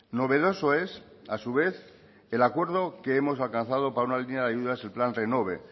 novedoso es a su vez el acuerdo que hemos alcanzado para una línea de ayudas el plan renove